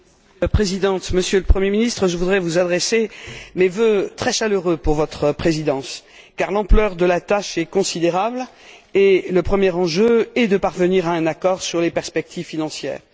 Madame la Présidente, Monsieur le Premier ministre, je voudrais vous adresser mes vœux très chaleureux pour votre Présidence, car l'ampleur de la tâche est considérable et le premier enjeu est de parvenir à un accord sur les perspectives financières.